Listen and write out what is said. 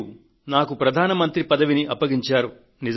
మీరు నాకు ప్రధాన మంత్రి పనిని అప్పగించారు